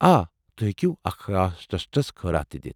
آ، تُہۍ ہیٚکو أکس خاص ٹرٛسٹس خٲرات تہِ دِتھ ۔